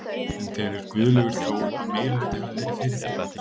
En telur Guðlaugur Þór að meirihluti hafi verið fyrir því?